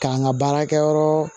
K'an ka baarakɛyɔrɔ